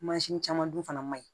caman dun fana man ɲi